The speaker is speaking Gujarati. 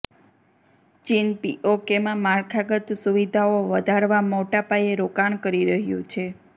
ચીન પીઓકેમાં માળખાગત સુવિધાઓ વધારવા મોટા પાયે રોકાણ કરી રહ્યું છે